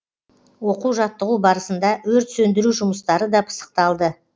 оқу жаттығу барысында өрт сөндіру жұмыстары да пысықталды